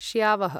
श्यावः